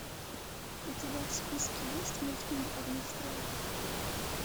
у тебя в списке есть мультфильм огнестрел